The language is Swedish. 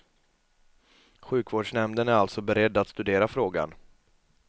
Sjukvårdsnämnden är alltså beredd att studera frågan.